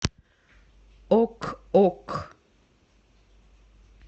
ок ок